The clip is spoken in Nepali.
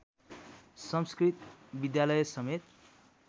संस्कृत विद्यालय समेत